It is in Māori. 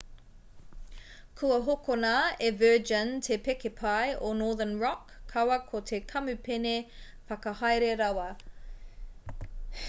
kua hokona e virgin te pēke pai o northern rock kaua ko te kamupene whakahaere rawa